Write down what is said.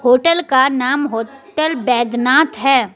Hotel का नाम hotel Baidnath है।